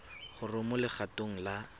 gore o mo legatong la